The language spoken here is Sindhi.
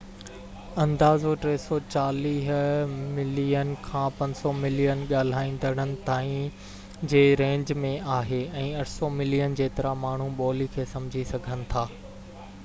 اندازو 340 ملين کان 500 ملين ڳالهائيندڙن تائين جي رينج ۾ آهي ۽ 800 ملين جيترا ماڻهو ٻولي کي سمجهي سگهن ٿا